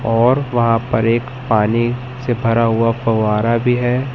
और वहां पर एक पानी से भरा हुआ फवारा भी है।